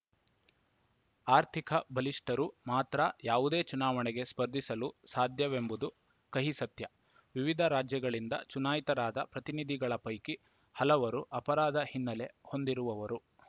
ಆರ್ಥಿಕ ಬಲಿಷ್ಠರು ಮಾತ್ರ ಯಾವುದೇ ಚುನಾವಣೆಗೆ ಸ್ಪರ್ಧಿಸಲು ಸಾಧ್ಯವೆಂಬುದು ಕಹಿಸತ್ಯ ವಿವಿಧ ರಾಜ್ಯಗಳಿಂದ ಚುನಾಯಿತರಾದ ಪ್ರತಿನಿಧಿಗಳ ಪೈಕಿ ಹಲವರು ಅಪರಾಧ ಹಿನ್ನೆಲೆ ಹೊಂದಿರುವವರು